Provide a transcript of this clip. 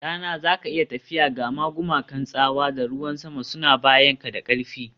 Ɗana, za ka iya tafiya, gama gumakan tsawa da ruwan sama suna bayanka da ƙarfi